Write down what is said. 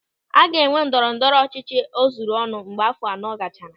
A ga-enwe ndọrọ ndọrọ ọchịchị o zuru ọnụ mgbe áfọ̀ anọ gachara.